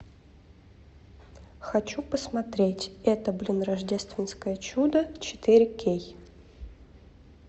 хочу посмотреть это блин рождественское чудо четыре кей